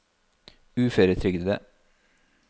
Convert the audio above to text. uføretrygdede